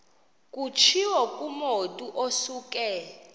kutshiwo kumotu osuke